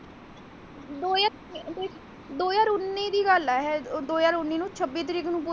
ਉੱਨੀ ਦੀ ਗੱਲ ਹੈ ਇਹ ਦੋ ਹਜਾਰ ਉੱਨੀ ਛੱਬੀ ਤਰੀਕ ਨੂੰ ਪੂਰਾ।